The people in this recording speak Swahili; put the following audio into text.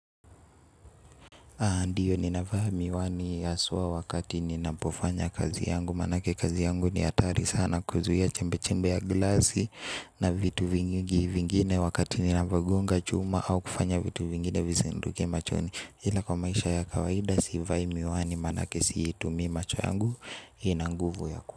Ndiyo ninavaa miwani haswa wakati ninapofanya kazi yangu manake kazi yangu ni hatari sana kuzuia chembe chembe ya glasi na vitu vingi vingine wakati ninavogonga chuma au kufanya vitu vingine vizinduke machoni ila kwa maisha ya kawaida sivai miwani manake si itumi macho yangu ina nguvu ya kuwa.